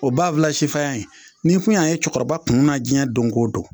O b'a fila sifaya in n'i kun y'a ye cɔkɔrɔba kun na jiɲɛ don ko don